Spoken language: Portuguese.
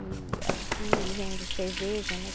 E aqui vende cerveja, né?